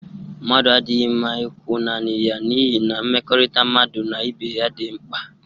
Mmadu adighi mma ikwu naani ya n'ihi na mmekorita mmadu na ibe ya di rnkpa.